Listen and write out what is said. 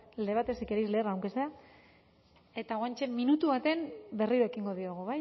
el debate si quereis leer antes e eta guanche minutu baten berrio ekingo diogu